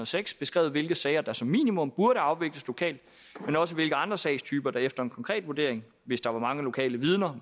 seks beskrevet hvilke sager der som minimum burde afvikles lokalt men også hvilke andre sagstyper der efter en konkret vurdering hvis der var mange lokale vidner